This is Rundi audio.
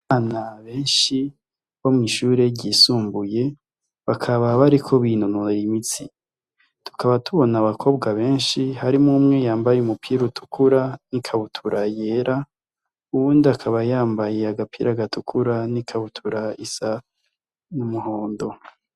Abana benshi ,bo mwishure ry'isumbuye bakaba bariko binonora imitsi tukaba tubona abakobwa benshi harimwo umwe yambaye umupira utukura nikabutura yera, uyundi akaba yambaye agapira gatukura ni kabutura isa numuhondo.